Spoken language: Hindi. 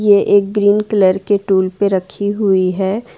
ये एक ग्रीन कलर के टूल पे रखी हुई है।